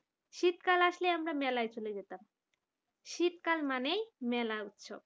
শীতকাল আসলে আমরা মেলায় চলে যেতাম শীতকাল মানে মেলা উৎসব